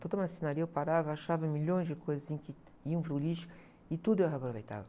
Toda a marcenaria eu parava, achava milhões de coisas, assim, que iam para o lixo e tudo eu aproveitava.